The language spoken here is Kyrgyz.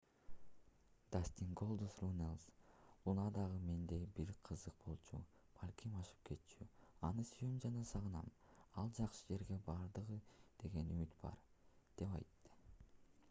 дастин голдуст руннелс луна дагы мендей бир кызык болчу... балким ашып кетчү... аны сүйөм жана аны сагынам ал жакшы жерге барды деген үмүт бар деп айтты